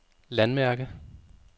landmærke